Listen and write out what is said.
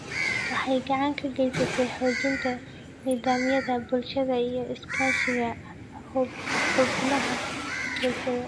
Waxay gacan ka geysataa xoojinta nidaamyada bulshada iyo iskaashiga xubnaha bulshada.